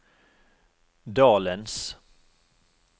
dalens